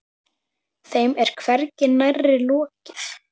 Þeim er hvergi nærri lokið.